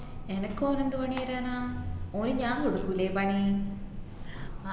എനക്ക് ഓൻ എന്ത് പണി തേരാനാ ഓന് ഞാൻ കൊടുകുലേ പണി